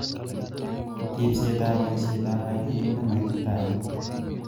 Ribset ak boisietab rabinik ne maititaat.